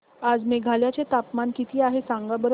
आज मेघालय चे तापमान किती आहे सांगा बरं